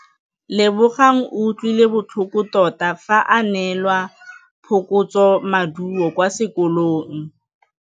Lebogang o utlwile botlhoko tota fa a neelwa phokotsômaduô kwa sekolong.